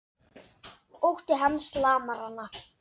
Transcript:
Ótti hans lamar hana.